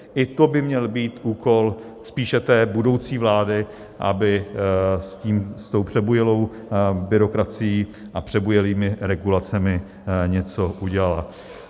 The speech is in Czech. I to by měl být úkol spíše té budoucí vlády, aby s tou přebujelou byrokracií a přebujelými regulacemi něco udělala.